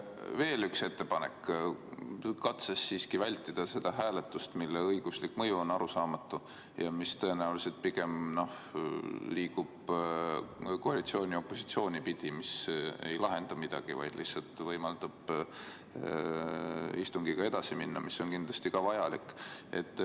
Teen veel ühe ettepaneku, et vältida seda hääletust, mille õiguslik mõju on arusaamatu ja mille tulemus liigub tõenäoliselt koalitsiooni-opositsiooni piiri pidi ega lahenda midagi, vaid lihtsalt võimaldab istungiga edasi minna, mis on kahtlemata vajalik.